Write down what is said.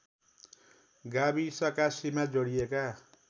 गाविसका सीमा जोडिएका